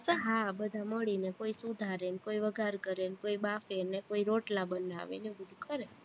હા બધા મળીને કોઈ સુધારે ને કોઈ વઘાર કરે ને કોઈ બાફે ને કોઈ રોટલા બનાવે ને એવું બધું કરે